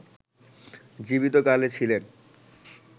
জীবিত কালে ছিলেন